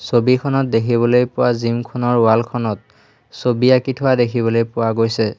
ছবিখনত দেখিবলৈ পোৱা জিম খনৰ ৱাল খনত ছবি আঁকি থোৱা দেখিবলৈ পোৱা গৈছে।